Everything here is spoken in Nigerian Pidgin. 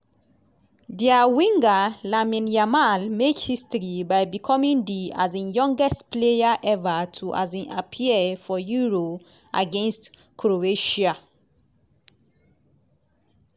dia winger lamine yamal make history by becoming di um youngest player ever to um appear for euro against croatia.